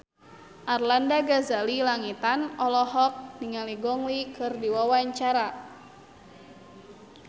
Arlanda Ghazali Langitan olohok ningali Gong Li keur diwawancara